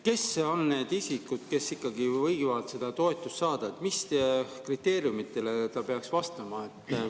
Kes on need isikud, kes ikkagi võivad seda toetust saada, mis kriteeriumidele nad peaksid vastama?